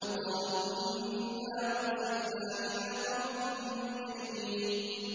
قَالُوا إِنَّا أُرْسِلْنَا إِلَىٰ قَوْمٍ مُّجْرِمِينَ